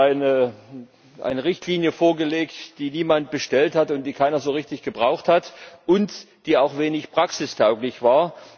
Hier wurde uns eine Richtlinie vorgelegt, die niemand bestellt hat, die keiner so richtig gebraucht hat und die auch wenig praxistauglich war.